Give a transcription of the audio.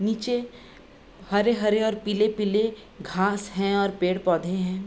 निचे हरे-हरे और पीले-पीले घास हैं और पेड़-पौधे हैं।